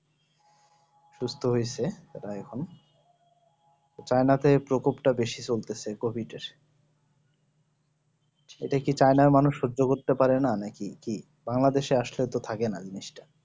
সুস্থ হয়েছে প্রায় এখন China তে প্রকোপ টা বেশি চলতেছে এর এটা কি China র মানুষ সহ্য করতে পারে না নাকি China তো আসলে থাকে না জিনিসটা